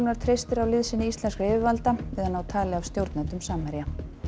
treystir á liðsinni íslenskra yfirvalda við að ná tali af stjórnendum Samherja